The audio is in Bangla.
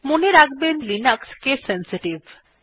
মনে রাখবেন যে লিনাক্স কেস সেনসিটিভ